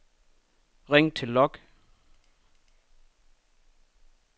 ring til log